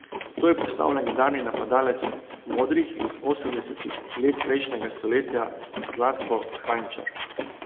To je postal legendarni napadalec modrih iz osemdesetih let prejšnjega stoletja Zlatko Kranjčar.